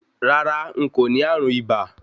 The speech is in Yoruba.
Rárá, n kò ní ààrùn ibà